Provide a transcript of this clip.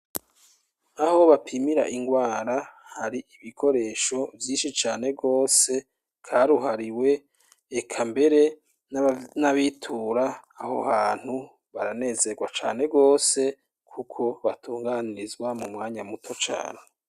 Aho bapimira ingwara hari ibikoresho vyinshi cane gose karuhariwe eka mbere n'abitura aho hantu baranezerwa cane gose kuko batunganirizwa mumwanya muto cane.